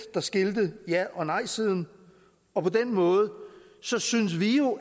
der skilte ja og nejsiden og på den måde synes synes vi jo